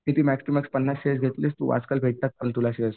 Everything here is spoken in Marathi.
किती मॅक्झिमम पन्नास शेअर्स घेतलास तू आजकाल भेटतात पण तुला शेअर्स.